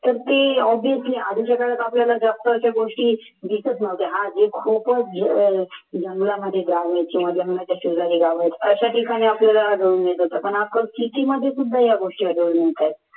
तर ते े obviously आधीच्या काळात आपल्याला जास्त अशा गोष्टी दिसत नव्हत्या आज खूपच जंगलामध्ये गाव असते किंवा जंगलाच्या शेजारी गाव असते अशा ठिकाणी आपल्याला आणि आपण किती